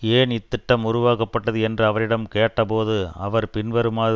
ஏன் இத்திட்டம் உருவாக்கப்பட்டது என்று அவரிடம் கேட்கப்பட்டபோது அவர் பின்வருமாறு